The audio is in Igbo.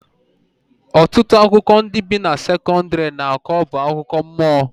Ọtụtụ akụkọ ndị bi na sekọndrị na-akọ bụ akụkọ mmụọ